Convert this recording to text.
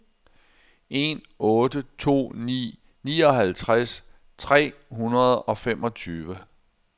en otte to ni nioghalvtreds tre hundrede og femogtyve